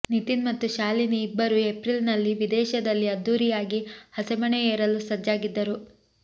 ನಿತಿನ್ ಮತ್ತು ಶಾಲಿನಿ ಇಬ್ಬರು ಏಪ್ರಿಲ್ ನಲ್ಲಿ ವಿದೇಶದಲ್ಲಿ ಅದ್ದೂರಿಯಾಗಿ ಹಸೆಮಣೆ ಏರಲು ಸಜ್ಜಾಗಿದ್ದರು